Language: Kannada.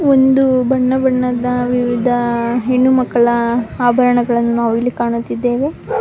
ಒಂದು ಬಣ್ಣ ಬಣ್ಣದ ವಿವಿಧ ಹೆಣ್ಣು ಮಕ್ಕಳ ಆಭರಣಗಳನ್ನು ನಾವಿಲ್ಲಿ ಕಾಣುತ್ತಿದ್ದೇವೆ.